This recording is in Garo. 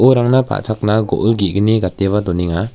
uarangna pa·chakna go·ol ge·gni gateba donenga.